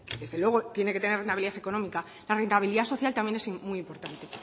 desde luego tiene que tener viabilidad económica la rentabilidad social también es muy importante